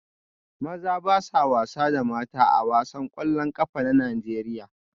Maza ba sa wasa da mata A wasan kwallon kafa na Najeriya